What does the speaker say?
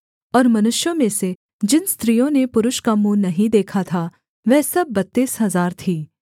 और मनुष्यों में से जिन स्त्रियों ने पुरुष का मुँह नहीं देखा था वह सब बत्तीस हजार थीं